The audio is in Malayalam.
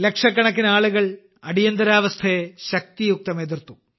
ലക്ഷക്കണക്കിന് ആളുകൾ അടിയന്തരാവസ്ഥയെ ശക്തിയുക്തം എതിർത്തു